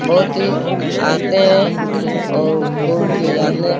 बहुत ही आते हैं और घुर के जाते हैं।